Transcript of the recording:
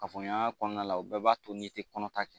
Kafoɲɔgɔnya kɔnɔna la u bɛɛ b'a to n'i tɛ kɔnɔ ta kɛ